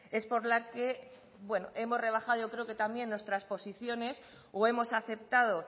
es por la que hemos rebajado yo creo que también nuestras posiciones o hemos aceptado